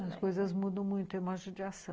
As coisas mudam muito, é uma judiação.